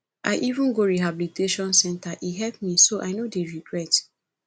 i even go rehabilitation center and e help me so i no dey regret